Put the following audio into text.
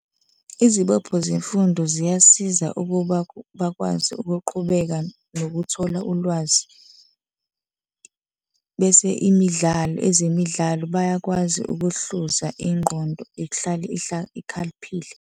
Izibopho zemfundo ziyasiza ukuba baqhubeke nokuthola ulwazi bese imidlalo, ezemidlalo bayakwazi ukuhluza ingqondo ihlale ikhaliphile.